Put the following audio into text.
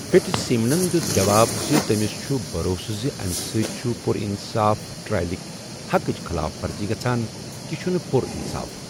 Fitzsimmons دِیُت جواب زِ تٔمِس چھُ بَروسہٕ زِ امہِ سۭتۍ چھِ پُر اِنصاف ٹرائلٕک حقٕچ خٕلاف ورزی گژھان 'یہ چھُنہٕ پُر اِنصاف